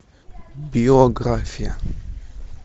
биография